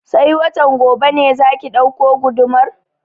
Sai watan gobe ne za ki ɗauko gudumar?